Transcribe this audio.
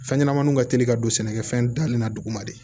Fɛn ɲɛnɛmaninw ka teli ka don sɛnɛkɛfɛn dali la duguma de